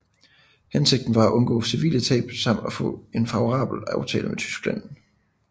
Hensigten var at undgå civile tab samt at få en favorabel aftale med Tyskland